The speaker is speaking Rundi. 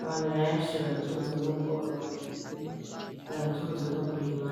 abantu benshi baratunzwe n'ubworozi baratunzwe no kurima.